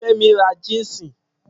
Femi ra jínsì.